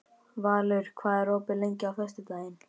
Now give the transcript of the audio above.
Valur, hvað er opið lengi á föstudaginn?